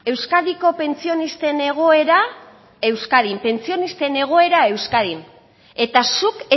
euskadiko pentsionisten egoera euskadin pentsionisten egoera euskadin eta zuk